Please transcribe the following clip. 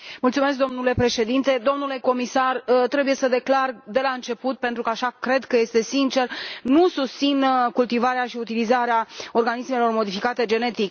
Domnule Președinte, domnule comisar, trebuie să declar de la început, pentru că așa cred că este sincer, că nu susțin cultivarea și utilizarea organismelor modificate genetic.